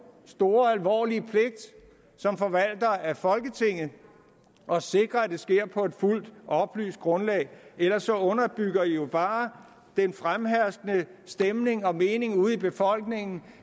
en stor alvorlig pligt som forvaltere af folketinget at sikre at det sker på et fuldt oplyst grundlag ellers underbygger man jo bare den fremherskende stemning og mening ude i befolkningen